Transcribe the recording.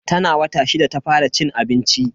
Tana wata shida ta fara cin abinci.